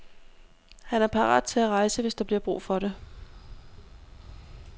Han er parat til at rejse, hvis der bliver brug for det.